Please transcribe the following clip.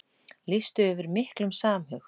Lýstu yfir miklum samhug